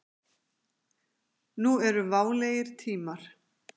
Nú eru válegir tímar.